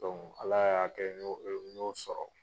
Donc Ala y'a kɛ n y'o sɔrɔ.